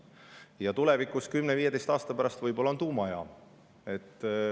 Ja tulevikus, 10–15 aasta pärast on võib-olla tuumajaam.